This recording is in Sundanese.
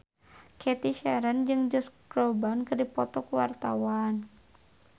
Cathy Sharon jeung Josh Groban keur dipoto ku wartawan